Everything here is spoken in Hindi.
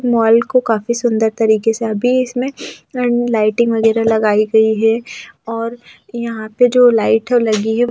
मॉल को काफी सुंदर तरीके से अभी इसमें लाइटिंग वगैरह लगाई गई है और यहां पे जो लाइट है वो लगी है ।